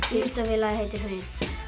íþróttafélagið heitir Huginn